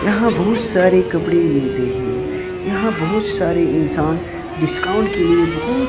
यहां बहुत सारे कपड़े मिलते है। यहां बहुत सारे इंसान डिस्काउंट के लिए बहुत--